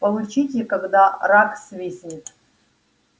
получите когда рак свистнет